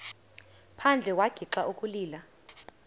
phandle wagixa ukulila